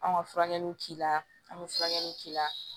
An ka furakɛliw k'i la an bɛ furakɛli k'i la